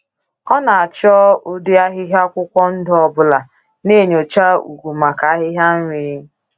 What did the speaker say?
Ọ na-achọ “ụdị ahịhịa akwụkwọ ndụ ọbụla,” na-enyocha ugwu maka ahịhịa nri.